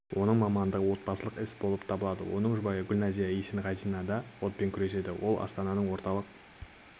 оның мамандығы отбасылық іс болып табылады оның жұбайы гүлназия есенғазинада да отпен күреседі ол астананың орталық